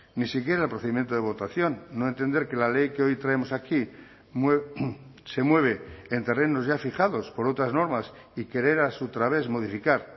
ni siquiera el procedimiento de votación no entender que la ley que hoy traemos aquí se mueve en terrenos ya fijados por otras normas y querer a su través modificar